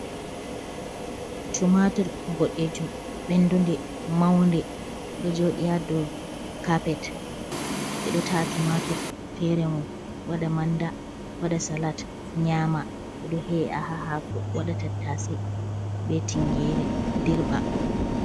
Tumaatur boɗeejum, ɓenndunde, mawnde, ɗo jooɗi haa dow Kaapet, ɓe ɗo ta'a tumaatur feere mum waɗa manda waɗa salat nyaama, ɓe ɗo he''a haa haako waɗa tattaase bee tingeere dirɓa.